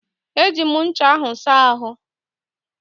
Eji m ncha ahụ saa ahụ́.